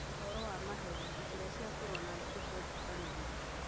Mohoro ma maheni: Njĩra cia kũrũa na ndeto cia njũkanĩrĩro.